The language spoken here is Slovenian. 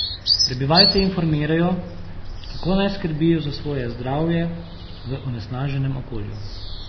Prebivalce informirajo, kako naj skrbijo za svoje zdravje v onesnaženem okolju.